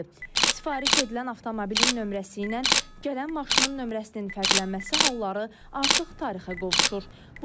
Sifariş edilən avtomobilin nömrəsi ilə gələn maşının nömrəsinin fərqlənməsi halları artıq tarixə qovuşur.